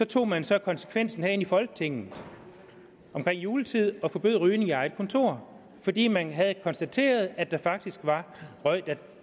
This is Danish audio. tog man så konsekvensen herinde i folketinget omkring juletid og forbød rygning på eget kontor fordi man havde konstateret at der faktisk var røg der